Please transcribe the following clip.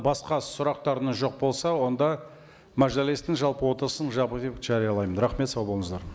басқа сұрақтарыңыз жоқ болса онда мәжілістің жалпы отырысын жабық деп жариялаймын рахмет сау болыңыздар